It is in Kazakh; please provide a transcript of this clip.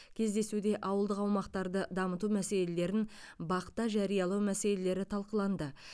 кездесуде ауылдық аумақтарды дамыту мәселелерін бақ та жариялау мәселелері талқыланды